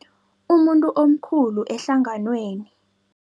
Umuntu omkhulu ehlanganweni.